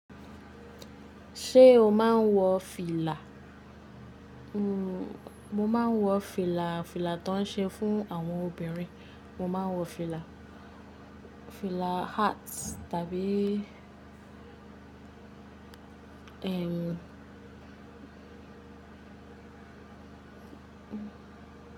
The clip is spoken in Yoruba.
Ṣé o máa ń wọ fìlà? Mo máa ń wọ fìlà, fìlà tó ń ṣe fún àwọn obìnrin. Mo máa ń wọ fìlà, fìlà hat tàbí ehn.